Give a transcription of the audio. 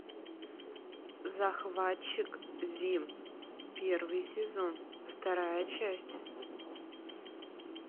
захватчик зим первый сезон вторая часть